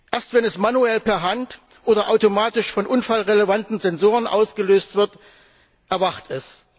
Erst wenn es manuell oder automatisch von unfallrelevanten Sensoren ausgelöst wird, erwacht es.